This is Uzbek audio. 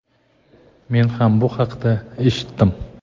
men ham bu haqda eshitdim.